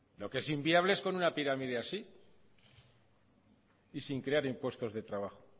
lo que es inviable es con una pirámide así y sin crear impuestos de trabajo